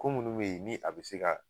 Ko minnu bɛ yen ni a bɛ se ka